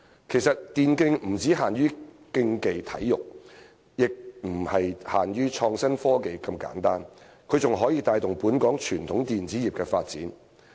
其實，電競不只限於競技體育，也不僅是創新科技這麼簡單，它還可以帶動本港傳統電子業的發展。